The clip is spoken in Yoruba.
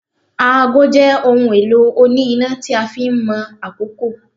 Aago jé ohun elo oni ina tí a fin Mo àkókò